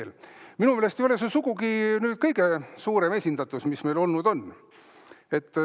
Aga minu meelest ei ole see sugugi kõige suurem esindatus seal, mis meil olnud on.